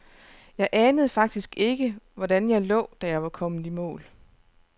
Jeg anede faktisk ikke, hvordan jeg lå, da jeg var kommet i mål.